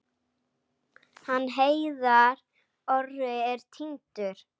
Hann Heiðar Orri er týndur.